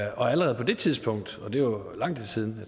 og allerede på det tidspunkt og det var jo for lang tid siden